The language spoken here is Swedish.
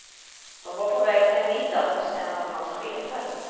De var på väg till en middag hos en av hans chefer.